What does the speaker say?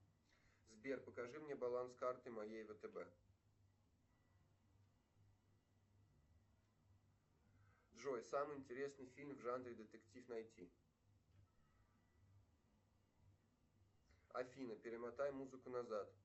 сбер покажи мне баланс карты моей втб джой самый интересный фильм в жанре детектив найти афина перемотай музыку назад